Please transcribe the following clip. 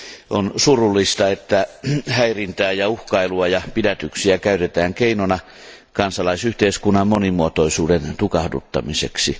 On surullista, että häirintää ja uhkailua ja pidätyksiä käytetään keinona kansalaisyhteiskunnan monimuotoisuuden tukahduttamiseksi.